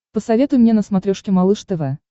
посоветуй мне на смотрешке малыш тв